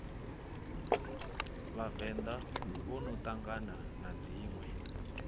vhavenḓa vhono ṱangana na dziṋwe